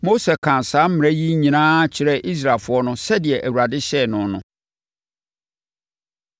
Mose kaa saa mmara yi nyinaa kyerɛɛ Israelfoɔ no sɛdeɛ Awurade hyɛɛ no no.